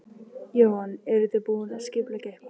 Jóhann: Eruð þið búin að skipuleggja eitthvað?